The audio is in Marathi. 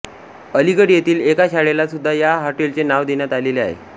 अलिगढ येथील एका शाळेला सुद्धा या हॉटेलचे नाव देण्यात आलेले आहे